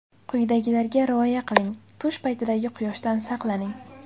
Quyidagilarga rioya qiling: Tush paytidagi quyoshdan saqlaning.